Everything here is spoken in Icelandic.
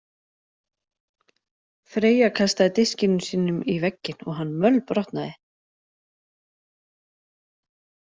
Freyja kastaði diskinum sínum í vegginn og hann mölbrotnaði.